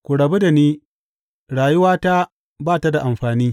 Ku rabu da ni; rayuwata ba ta da amfani.